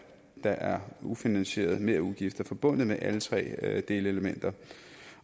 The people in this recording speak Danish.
der er ufinansierede merudgifter forbundet med alle tre delelementer